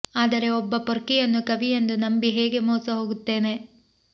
ಆದರೆ ಒಬ್ಬ ಪೊರ್ಕಿಯನ್ನು ಕವಿ ಎಂದು ನಂಬಿ ಹೇಗೆ ಮೋಸ ಹೋಗುತ್ತೇನೆ